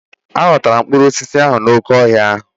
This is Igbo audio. A ghọtara m mkpụrụ osisi n'oké ọhịa ahụ.